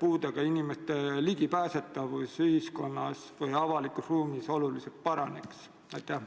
puudega inimeste ligipääsetavus ühiskonnale või avalikule ruumile oluliselt paraneks?